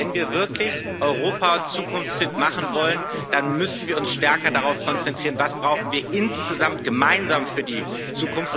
Wenn wir wirklich Europa zukunftsfit machen wollen, dann müssen wir uns stärker darauf konzentrieren, was wir insgesamt gemeinsam für die Zukunft brauchen.